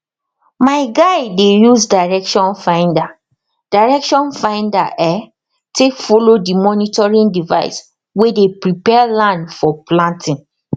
my guy dey use direction finder direction finder um take follow the monitoring device way dey prepare land for planting